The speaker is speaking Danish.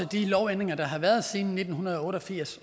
de lovændringer der har været siden nitten otte og firs